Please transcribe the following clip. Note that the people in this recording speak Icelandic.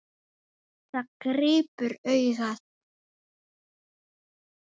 Það grípur augað.